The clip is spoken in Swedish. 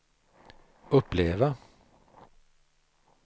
uppleva